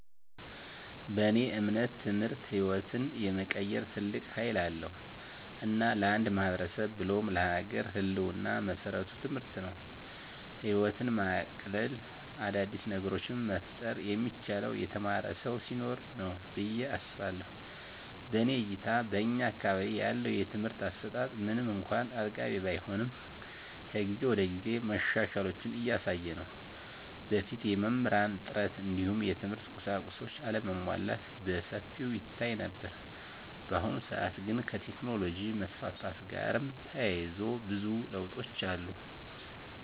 በእኔ እምነት ትምህርት ህይወትን የመቀየር ትልቅ ሀይል አለዉ። እና ለአንድ ማህበረሰብ ብሎም ለሀገር ህልወና መሰረቱ ትምህርት ነው። ህይወትን ማቅለል : አዳዲስ ነገሮችን መፍጠር የሚቻለው የተማረ ሰው ሲኖር ነው ብየ አስባለሁ። በእኔ እይታ በእኛ አካባቢ ያለው የትምህርት አሰጣት ምንም እንኳን አጥጋቢ ባይሆንም ከጊዜ ወደጊዜ መሻሻሎችን እያሳየ ነው። በፊት የመምህራን እጥረት እንዲሁም የትምህርት ቁሳቁሶች አለመሟላት በሰፊው ይታይ ነበር። በአሁኑ ሰአት ግን ከቴክኖሎጅ መስፋፋት ጋርም ተያይዞ ብዙ ለውጦች አሉ።